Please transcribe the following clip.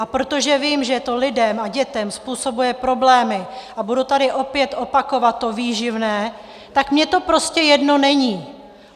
A protože vím, že to lidem a dětem způsobuje problémy, a budu tady opět opakovat to výživné, tak mně to prostě jedno není!